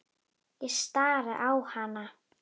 Ég stari á hana.